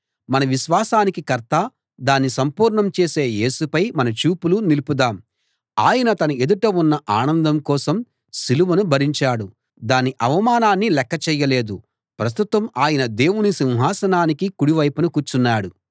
మన విశ్వాసానికి కర్తా దాన్ని సంపూర్ణం చేసే యేసుపై మన చూపులు నిలుపుదాం ఆయన తన ఎదుట ఉన్న ఆనందం కోసం సిలువను భరించాడు దాని అవమానాన్ని లెక్కచేయలేదు ప్రస్తుతం ఆయన దేవుని సింహాసనానికి కుడి వైపున కూర్చున్నాడు